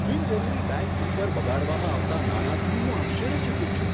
બિનજરૂરી bank fee પર બગાડવામાં આવતા નાણાંથી હું આશ્ચર્યચકિત છું.